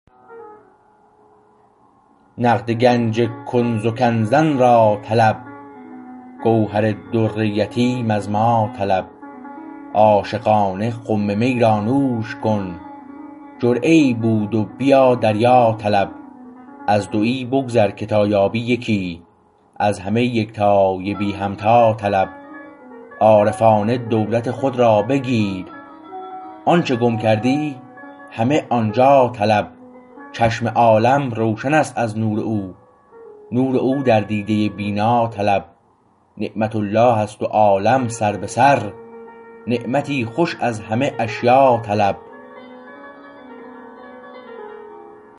نقد گنج کنت کنزا را طلب گوهر در یتیم از ما طلب عاشقانه خم می را نوش کن جرعه ای بود بیا دریا طلب از دویی بگذر که تا یابی یکی از همه یکتای بی همتا طلب عارفانه دولت خود را بگیر آنچه گم کردی همه آنجا طلب چشم عالم روشنست از نور او نور او در دیده بینا طلب نعمت الله است و عالم سر به سر نعمتی خوش از همه اشیا طلب